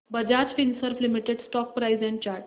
Bajaj Finserv limited stock price and chart